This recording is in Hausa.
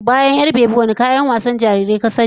Bayan 'yar-bebi, wadanne kayan wasan jarirai ka sani?